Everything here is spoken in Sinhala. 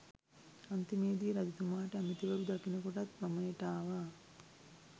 අන්තිමේදී රජතුමාට ඇමතිවරු දකින කොටත් වමනෙට ආවා.